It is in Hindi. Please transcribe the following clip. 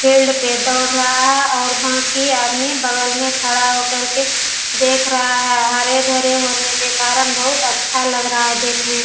फील्ड पे दौड़ रहा है और बाकी आदमी बगल मे खड़ा हो करके देख रहा है। हरे-भरे होने के कारण बहुत अच्छा लग रहा है देखने में --